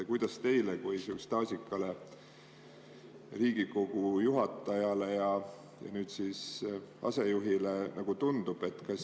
Kuidas teile kui staažikale Riigikogu juhatajale ja nüüdsele asejuhile tundub?